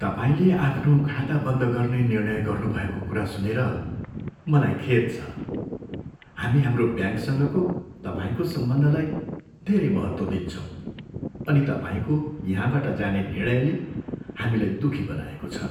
तपाईँले आफ्नो खाता बन्द गर्ने निर्णय गर्नुभएको कुरा सुनेर मलाई खेद छ। हामी हाम्रो ब्याङ्कसँगको तपाईँको सम्बन्धलाई धेरै महत्त्व दिन्छौँ अनि तपाईँको यहाँबाट जाने निर्णयले हामीलाई दुःखी बनाएको छ।